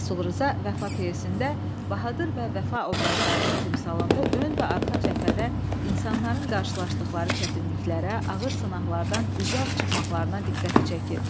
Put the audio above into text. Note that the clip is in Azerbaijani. Rəsul Rza “Vəfa” pyesində Bahadur və Vəfa obrazlarının timsalında ön və arxa cəbhədə insanların qarşılaşdıqları çətinliklərə, ağır sınaqlardan üzüağ çıxmaqlarına diqqəti çəkib.